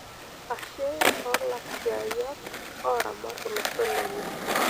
Ashe toolaisiayiak oramat olosho lenye.